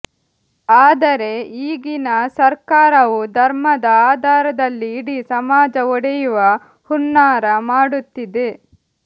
ಆದರೆ ಈಗಿನ ಸರ್ಕಾರವು ಧರ್ಮದ ಆಧಾರದಲ್ಲಿ ಇಡೀ ಸಮಾಜ ಒಡೆಯುವ ಹುನ್ನಾರ ಮಾಡುತ್ತಿದೆ